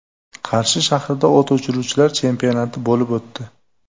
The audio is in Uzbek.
Qarshi shahrida o‘t o‘chiruvchilar chempionati bo‘lib o‘tdi.